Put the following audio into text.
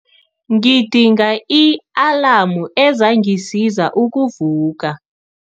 Ngidinga i-alamu ezangisiza ukuvuka.